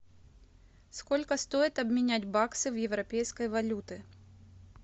сколько стоит обменять баксы в европейской валюты